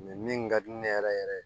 min ka di ne yɛrɛ yɛrɛ ye